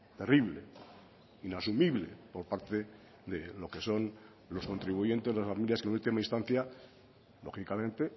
terrible inasumible por parte de lo que son los contribuyentes las familias que en última instancia lógicamente